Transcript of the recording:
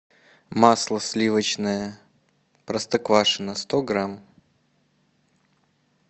масло сливочное простоквашино сто грамм